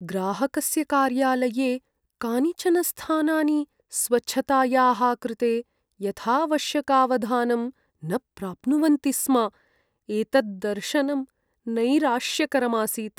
ग्राहकस्य कार्यालये कानिचन स्थानानि स्वच्छतायाः कृते यथाऽऽवश्यकावधानं न प्राप्नुवन्ति स्म, एतद्दर्शनं नैराश्यकरम् आसीत्।